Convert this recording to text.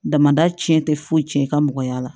Damada cɛn tɛ foyi tiɲɛ i ka mɔgɔya la